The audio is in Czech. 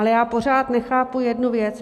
Ale já pořád nechápu jednu věc.